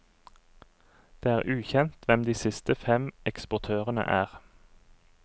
Det er ukjent hvem de siste fem eksportørene er.